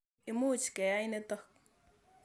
Imuch keyai nitok.